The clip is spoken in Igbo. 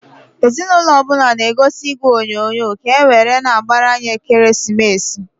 Ezi n'ụnọ ọbụna na -egozi igwe onyoonyo, ka ewere na-agbar'anya ekeresimesi.